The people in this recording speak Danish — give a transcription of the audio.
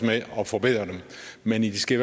med at forbedre det men de skal